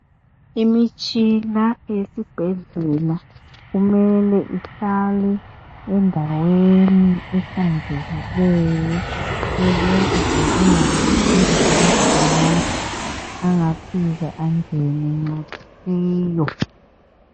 Imitshina eyesibhedlela kumele ihlale endaweni ehlanzekileyo. Ukuze kungabi lamagcikwane angafika angene angayisiwo.